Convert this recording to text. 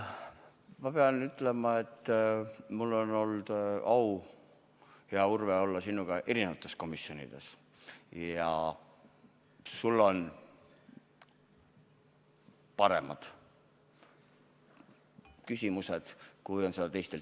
Ma pean ütlema, et mul on olnud au olla sinuga, hea Urve, erinevates komisjonides ja sul on paremad küsimused kui teistel.